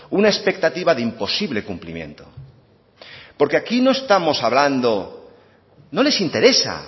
una expectativa de imposible cumplimiento porque aquí no estamos hablando no les interesa